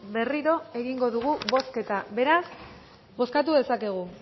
berriro egingo dugu bozketa beraz bozkatu dezakegu